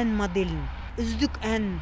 ән моделін үздік әнін